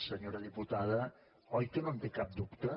senyora diputada oi que no en té cap dubte